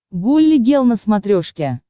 гулли гел на смотрешке